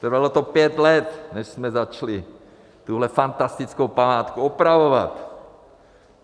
Trvalo to pět let než jsme začali tuhle fantastickou památku opravovat.